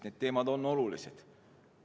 Need teemad on olulised.